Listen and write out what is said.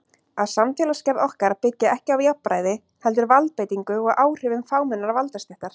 Að samfélagsgerð okkar byggi ekki á jafnræði heldur valdbeitingu og áhrifum fámennrar valdastéttar.